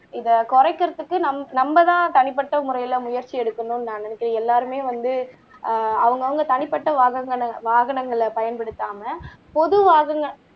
இத குறைக்கிறதுக்கு நம்மதான் தனிப்பட்ட முறையில முயற்சி எடுக்கணும் நான் நினைக்கேன் எல்லாருமே வந்து அவங்க அவங்க தனிப்பட்ட வாகனங்களை பயன்படுத்தாம பொது வாகன